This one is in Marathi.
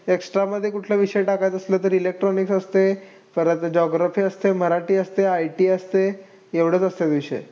Extra मध्ये कुठला विषय टाकायचा असला तर electronics असतंय. परत geography असतंय. मराठी असतंय. IT असतंय. एवढंच असतंय विषय.